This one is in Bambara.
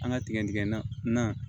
An ka tigɛdigɛn na